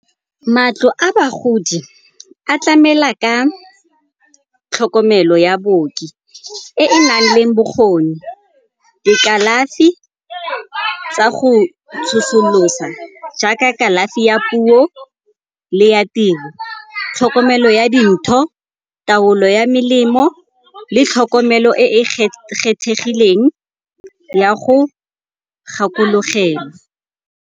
Matlo a bagodi a tlamela ka tlhokomelo ya baoki e e nang le bokgoni, dikalafi tsa go tsosolosa jaaka kalafi ya puo le ya tiro, tlhokomelo ya dintho, taolo ya melemo le tlhokomelo e e kgethegileng ya go gakologelwa.